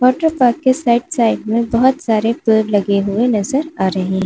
water park के side side में बोहोत सारे पेड़ लगे हुए नज़र आ रहे --